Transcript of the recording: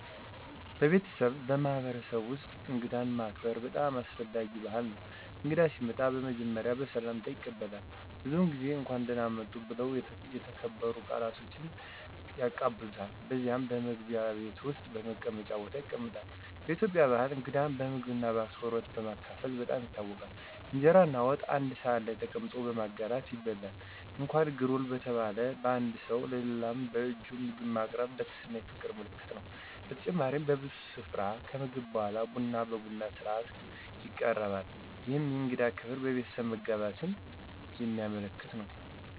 በቤተሰብና በማህበረሰብ ውስጥ እንግዳን ማከበር በጣም አስፈላጊ ባህል ነው። እንግዳ ሲመጣ በመጀመሪያ በሰላምታ ይቀበላል፣ ብዙዉን ጊዜ “እንኳን ደህና መጡ” ብለው በተከበሩ ቃላት ቀበሉታል። ከዚያም በመግቢያ ቤት ወይም በመቀመጫ ቦታ ይቀመጣሉ። በኢትዮጵያ ባህል እንግዳን በምግብና በአክብሮት በማካፈልም በጣም ይታወቃል። እንጀራና ወጥ በአንድ ሳህን ላይ ተቀምጦ በማጋራት ይበላል። እንኳን “ግሩል” በተባለ በአንዱ ሰው ለሌላው በእጁ ምግብ ማቅረብ የትህትናና የፍቅር ምልክት ነው። በተጨማሪም በብዙ ስፍራ ከምግብ በኋላ ቡና በቡና ሥነ-ሥርዓት ይቀበራል፣ ይህም የእንግዳ ክብርና የቤተሰብ መጋባትን የሚያመለክት ነው።